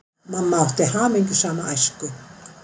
Mamma átti hamingjusama æsku.